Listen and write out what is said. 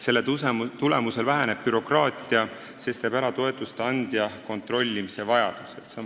Selle tulemusel väheneb bürokraatia, sest toetuste andja kontrollimise vajadus kaob ära.